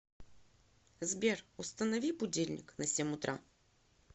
сбер установи будильник на семь утра